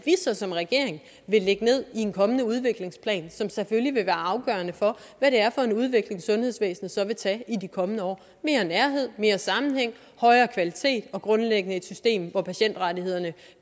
så som regering vil lægge ned i en kommende udviklingsplan som selvfølgelig vil være afgørende for hvad det er for en udvikling sundhedsvæsenet så vil tage i de kommende år mere nærhed mere sammenhæng højere kvalitet og grundlæggende et system hvor patientrettighederne